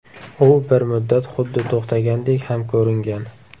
U bir muddat xuddi to‘xtagandek ham ko‘ringan.